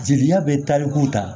Jeliya bɛ talikuw ta